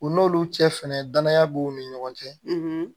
U n'olu cɛ fɛnɛ danaya b'u ni ɲɔgɔn cɛ